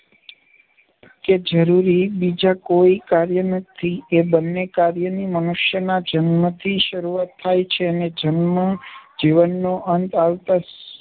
કે જરૂરી બીજાં કોઈ કાર્ય નથી. એ બંને કાર્યની મનુષ્યના જન્મથી શરૂઆત થાય છે ને જન્મ જીવનનો અંત આવતાં સુ